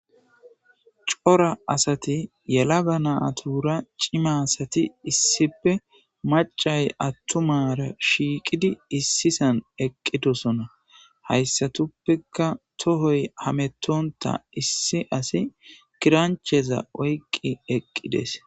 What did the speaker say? Cora asati yela ga natura cima asati issipe macay attumara shiiqidi issisan eqqidosona hayssatuppeka tohoy hametonta issi asi kirancheza oyqqi eqqides.